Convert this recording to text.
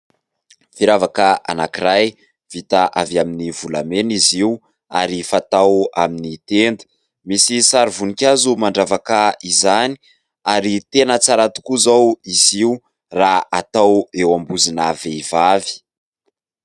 Firavaka anankiray vita avy amin'ny volamena izy io ary fatao amin'ny tenda, misy sary voninkazo mandravaka izany ary tena tsara tokoa izao izy io raha atao eo am-bozina vehivavy.